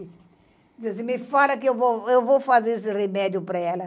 disse, me fala que eu vou, eu vou fazer esse remédio para ela.